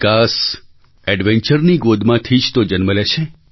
વિકાસ adventureની ગોદમાંથી જ તો જન્મ લે છે